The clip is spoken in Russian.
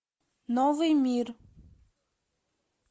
новый мир